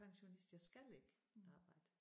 Pensionist jeg skal ikke arbejde